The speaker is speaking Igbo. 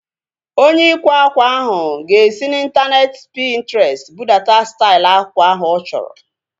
Onye ịkwa ákwà ahu ga-esi n'intaneeti Pintrestị budata stail akwa ahu ọ chọrọ